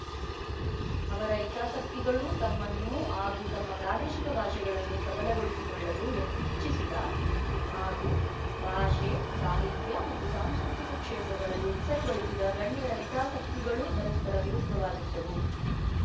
ಅವರ ಹಿತಾಸಕ್ತಿಗಳೂ ತಮ್ಮನ್ನು ಹಾಗೂ ತಮ್ಮ ಪ್ರಾದೇಶಿಕ ಭಾಷೆಗಳನ್ನು ಸಬಲಗೊಳಿಸಿಕೊಳ್ಳಲು ಇಚ್ಛಿಸಿದ ಹಾಗೂ ಭಾಷೆ ಸಾಹಿತ್ಯ ಮತ್ತು ಸಾಂಸ್ಕೃತಿಕ ಕ್ಷೇತ್ರಗಳಲ್ಲಿ ಹೆಸರುಗಳಿಸಿದ ಗಣ್ಯರ ಹಿತಾಸಕ್ತಿಗಳೂ ಪರಸ್ಪರ ವಿರುದ್ಧವಾಗಿದ್ದವು